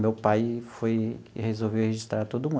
Meu pai foi e resolveu registrar todo mundo.